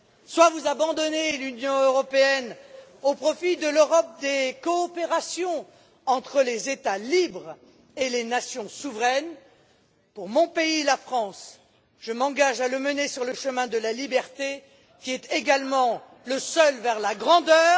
Soit vous abandonnez l'Union européenne au profit de l'Europe des coopérations entre les États libres et les nations souveraines. Pour mon pays la France je m'engage à le mener sur le chemin de la liberté, qui est également le seul vers la grandeur.